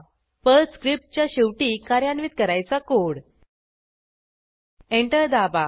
Perl स्क्रिप्टच्या शेवटी कार्यान्वित करायचा कोड एंटर दाबा